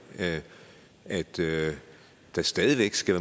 at der stadig væk skal